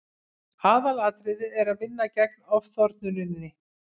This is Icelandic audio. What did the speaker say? aðalatriðið er að vinna gegn ofþornuninni